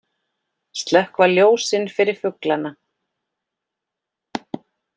Slökkva ljósin fyrir fuglana